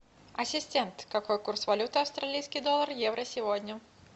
ассистент какой курс валюты австралийский доллар евро сегодня